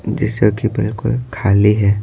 जैसे कि बिल्कुल खाली है।